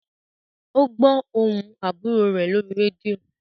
O gbó ohùn àbúrò rẹ lórí rédíò.